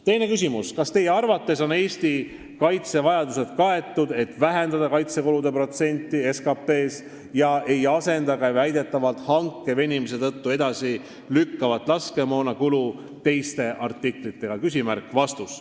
Teine küsimus: "Kas teie arvates on Eesti kaitsevajadused kaetud, et vähendate kaitsekulude protsenti SKP-s ja ei asenda ka väidetavalt hanke venimise tõttu edasi lükkuvat laskemoona kulu teiste artiklitega?